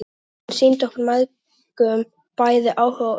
Hún sýndi okkur mæðgum bæði áhuga og umhyggju.